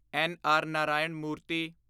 N. R. Narayana ਮੂਰਤੀ